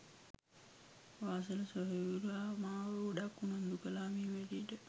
වාසල සොහොයුරා මාව ගොඩක් උනන්දු කළා මේ වැඩෙට